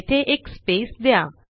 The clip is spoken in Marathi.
येथे एक स्पेस द्या